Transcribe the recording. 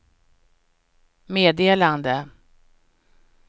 meddelande